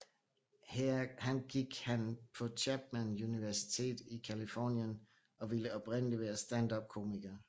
Han gik han på Chapman Universitet i Californien og ville oprindeligt være standupkomiker